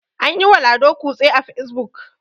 an yiwa lado kutse a fesbuk